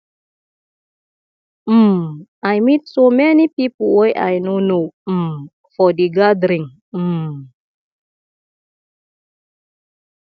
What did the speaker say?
um i meet so many people wey i no know um for the gathering um